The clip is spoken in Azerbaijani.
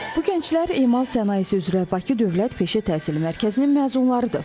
Bu gənclər emal sənayesi üzrə Bakı Dövlət Peşə Təhsili Mərkəzinin məzunlarıdır.